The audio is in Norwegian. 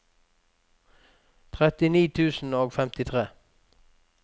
trettini tusen og femtitre